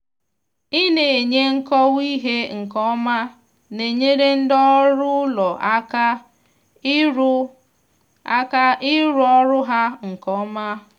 ina enye nkọwa ihe nke ọma na-enyere ndị ọrụ ụlọ aka ịrụ aka ịrụ ọrụ ha nke ọma.